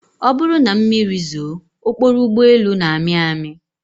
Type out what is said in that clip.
Ọ bụrụ na mmiri zoo, okporo ụgbọelu na-amị amị